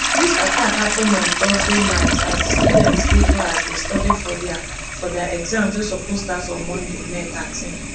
dis attack happen on thursday night as di students dey class dey study for dia for dia exams wey suppose start on monday may thirteen